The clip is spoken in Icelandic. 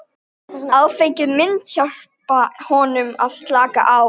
Áfengið myndi hjálpa honum að slaka á.